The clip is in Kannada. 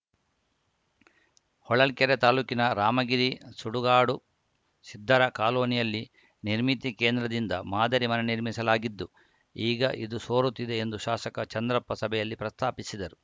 ಹೊಳಲ್ಕೆರೆ ತಾಲೂಕಿನ ರಾಮಗಿರಿ ಸುಡುಗಾಡು ಸಿದ್ಧರ ಕಾಲೋನಿಯಲ್ಲಿ ನಿರ್ಮಿತಿ ಕೇಂದ್ರದಿಂದ ಮಾದರಿ ಮನೆ ನಿರ್ಮಿಸಲಾಗಿದ್ದು ಈಗ ಇದು ಸೋರುತ್ತಿದೆ ಎಂದು ಶಾಸಕ ಚಂದ್ರಪ್ಪ ಸಭೆಯಲ್ಲಿ ಪ್ರಸ್ತಾಪಿಸಿದರು